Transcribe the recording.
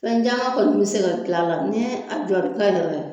Fɛn caman kɔni bɛ se ka gilan a la ni a jɔri